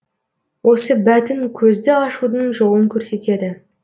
осы бәтін көзді ашудың жолын көрсетеді